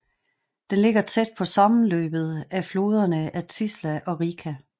Den ligger tæt på sammenløbet af floderne af Tisza og Rika